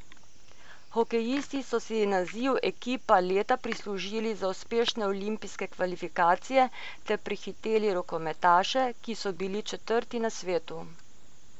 Hokejisti so si naziv ekipa leta prislužili za uspešne olimpijske kvalifikacije ter prehiteli rokometaše, ki so bili četrti na svetu.